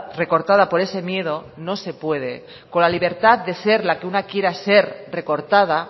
recortada por ese miedo no se puede con la libertad de ser la que una quiera ser recortada